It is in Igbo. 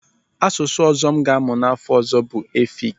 Asụsụ ọzọ m ga-amụ n'afọ ọzọ bụ Efik.